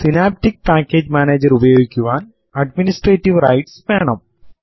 synaptic package manager ഉപയോഗിക്കുവാൻ administrative rights വേണം